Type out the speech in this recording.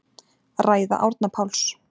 Ræða Árna Páls